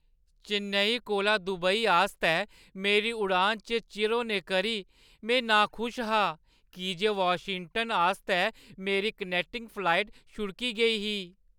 चेन्नई कोला दुबई आस्तै मेरी उड़ान च चिर होने करी में नाखुश हा की जे वाशिंगटन आस्तै मेरी कनैक्टिंग उड़ान छुड़की गेई ही।